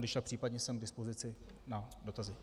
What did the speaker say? Když tak případně jsem k dispozici na dotazy.